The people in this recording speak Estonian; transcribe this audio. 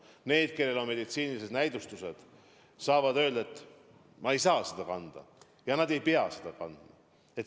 Need inimesed, kellel on teatud meditsiinilised näidustused, saavad öelda, et ma ei saa maski kanda, ja nad ei peagi kandma.